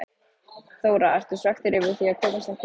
Þóra: Ertu svekktur yfir því að komast ekki í dag?